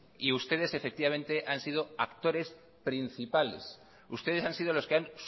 y ustedes efectivamente han sido actores principales ustedes han sido los que han